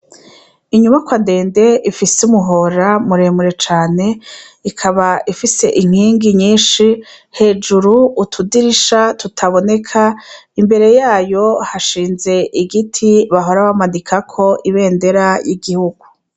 Inyubakwa ndende ifise umuhora muremure cane ikaba ifise inkingi nyinshi hejuru utudirisha tutaboneka imbere yayo hashinze igiti bahora bamanikako ibendera y'igihugu.